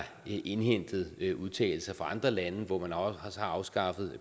indhentet udtalelser fra andre lande hvor man også har afskaffet